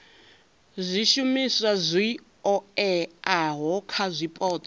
zwishumiswa zwi oeaho kha zwipotso